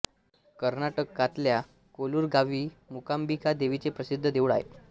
कर्नाटकातल्या कोलूर गावी मुकाम्बिका देवीचे प्रसिद्ध देऊळ आहे